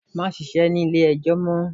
Má ṣíṣe ní ilé ẹjọ́ mọ́!